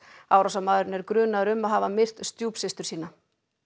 árásarmaðurinn er grunaður um að hafa myrt stjúpsystur sína